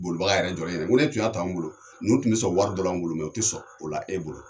Bolibaga yɛrɛ jɔlen ɲɛna n ko ne tun y'a t'anw bolo, ninnu tun bɛ sɔn wari dɔ la ne bolo mɛ o tɛ sɔn o la e bolo!